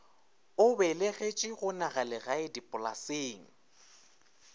o belegetšwe go nagalegae dipolaseng